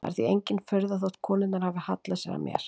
Það er því engin furða þótt konurnar hafi hallað sér að mér.